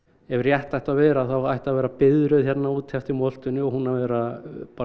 ef rétt ætti að vera þá ætti að vera biðröð hérna úti eftir moltunni og hún að vera